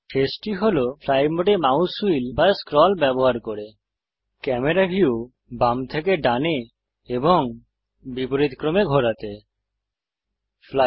camera view বাম থেকে ডানে এবং বিপরীতক্রমে ঘোরাতে শেষটি হল ফ্লাই মোডে মাউস হুইল বা স্ক্রল ব্যবহার করা